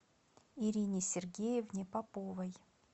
ирине сергеевне поповой